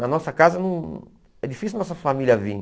Na nossa casa não, é difícil a nossa família vir.